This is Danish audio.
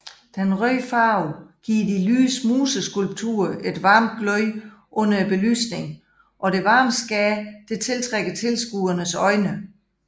Den røde farve giver de lyse museskulpturer et varmt glød under belysningen og det varme skær tiltrækker tilskuernes øjne